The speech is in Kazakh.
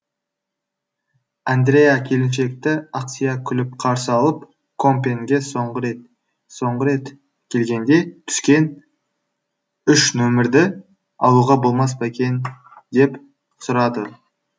андреа келіншекті ақсия күліп қарсы алып компьенге соңғы рет келгенде түскен үш нөмірді алуға болмас па екен деп сұрады